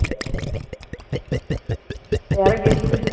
யாரோ guest உ